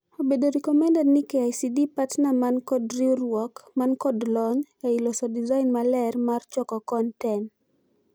Obedo recommended ni KICD partner man kod riuruok man kod lony' ei loso design maler mar choko konten .